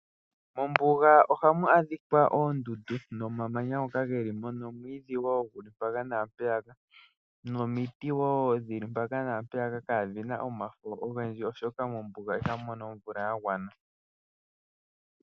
Mombuga ohamu adhikwa oondundu nomamanya ngoka geli mo nomwiidhi wo, guli mpaka na mpeyaka, nomiti wo dhili mpaka na mpeyaka kaadhina omafo ogendji, oshoka mombuga ihamu mono omvula ya gwana.